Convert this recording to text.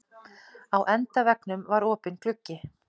Á endaveggnum var opinn gluggi.